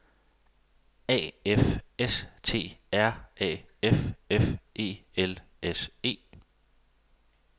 A F S T R A F F E L S E